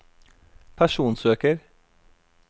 personsøker